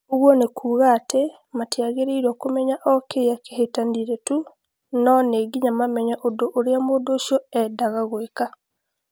Ũguo nĩ kuuga atĩ matiagĩrĩirũo kũmenya o kĩrĩa kĩahĩtanire tu, no nĩ nginya mamenye ũndũ ũrĩa mũndũ ũcio eendaga gwĩka.